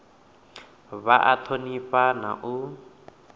vha a thonifha na u